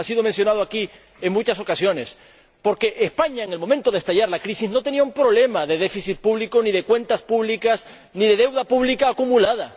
Ha sido mencionado aquí en muchas ocasiones, porque España, en el momento de estallar la crisis, no tenía un problema de déficit público ni de cuentas públicas ni de deuda pública acumulada.